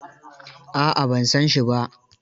A'a ban san shi ba.